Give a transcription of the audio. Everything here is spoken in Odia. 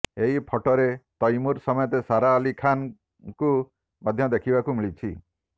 ଏହି ଫଟୋରେ ତୈମୁର ସମେତ ସାରା ଅଲ୍ଲୀ ଖାନ୍ଙ୍କୁ ମଧ୍ୟ ଦେଖିବାକୁ ମିଳିଛି